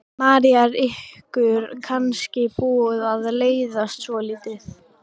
María: Er ykkur kannski búið að leiðast svolítið?